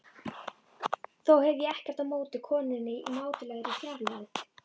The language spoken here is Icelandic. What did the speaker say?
Þó hef ég ekkert á móti konunni í mátulegri fjarlægð.